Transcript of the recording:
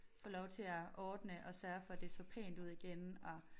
Få lov til at ordne og sørge for det så pænt ud igen og